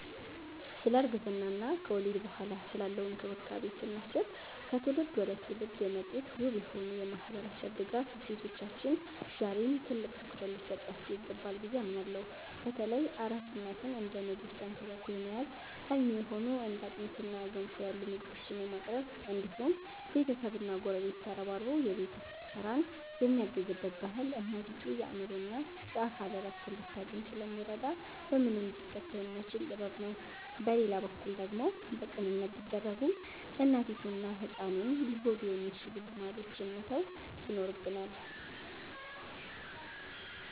ስለ እርግዝና እና ከወሊድ በኋላ ስላለው እንክብካቤ ስናስብ፣ ከትውልድ ወደ ትውልድ የመጡት ውብ የሆኑ የማህበረሰብ ድጋፍ እሴቶቻችን ዛሬም ትልቅ ትኩረት ሊሰጣቸው ይገባል ብዬ አምናለሁ። በተለይ አራስ እናትን እንደ ንግስት ተንክባክቦ የመያዝ፣ አልሚ የሆኑ እንደ አጥሚትና ገንፎ ያሉ ምግቦችን የማቅረብ እንዲሁም ቤተሰብና ጎረቤት ተረባርቦ የቤት ውስጥ ስራን የሚያግዝበት ባህል እናቲቱ የአእምሮና የአካል እረፍት እንድታገኝ ስለሚረዳ በምንም ሊተካ የማይችል ጥበብ ነው። በሌላ በኩል ደግሞ በቅንነት ቢደረጉም እናቲቱንና ህፃኑን ሊጎዱ የሚችሉ ልማዶችን መተው ይኖርብናል።